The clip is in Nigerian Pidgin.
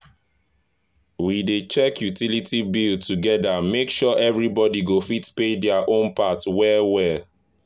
we dey check utility bills together make sure everybody go fit pay their own part well well.